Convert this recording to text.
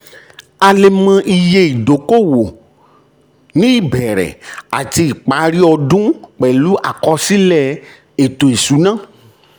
a lè mọ iye owó ìdókòwò ní ìbẹ̀rẹ̀ àti ìparí ọdún pẹ̀lú àkọsílẹ̀ ètò ìṣúná.